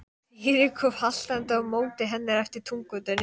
Týri kom haltrandi á móti henni eftir túngötunni.